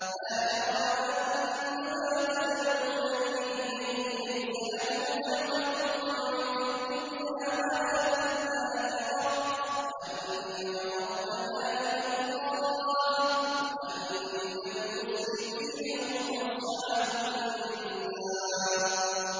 لَا جَرَمَ أَنَّمَا تَدْعُونَنِي إِلَيْهِ لَيْسَ لَهُ دَعْوَةٌ فِي الدُّنْيَا وَلَا فِي الْآخِرَةِ وَأَنَّ مَرَدَّنَا إِلَى اللَّهِ وَأَنَّ الْمُسْرِفِينَ هُمْ أَصْحَابُ النَّارِ